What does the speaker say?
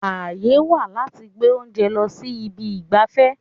Àyè wà láti gbé oúnjẹ lọ sí ibi ìgbafẹ́.